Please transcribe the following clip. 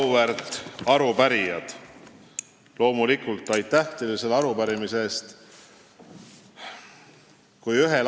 Auväärt arupärijad, loomulikult aitäh teile selle arupärimise eest!